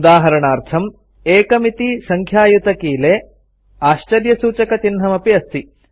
उदाहरणार्थम् 1 इति सङ्ख्यायुतकीले आश्चर्यसूचकचिह्नमपि अस्ति